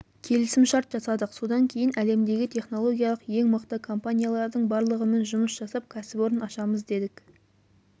келісім-шарт жасадық содан кейін әлемдегі технологиялық ең мықты компаниялардың барлығымен жұмыс жасап кәсіпорын ашамыз дедік